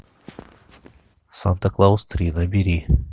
санта клаус три набери